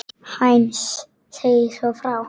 Heinz segir svo frá